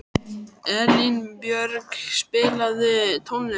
Elínbjörg, spilaðu tónlist.